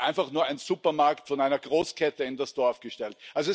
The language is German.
Oder wird einfach nur ein Supermarkt von einer Großkette in das Dorf gestellt?